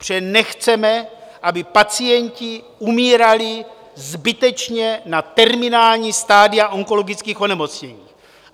Protože nechceme, aby pacienti umírali zbytečně na terminální stadia onkologických onemocnění.